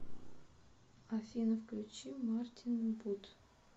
афина включи мартина будд